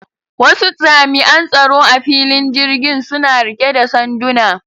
Wasu jami'an tsaro a filin jirgin suna rike da sanduna.